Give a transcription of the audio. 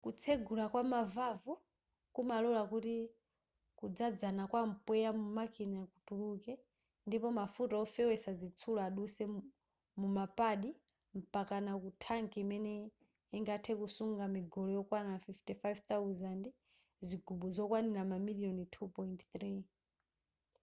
kutsegula kwama valve kumalora kuti kudzadzana kwa mpweya mu makina kutuluke ndipo mafuta ofewetsa zitsulo adutse muma pad mpakana ku thanki imene ingathe kusunga migolo yokwana 55,000 zigubu zokwana mamiliyoni 2.3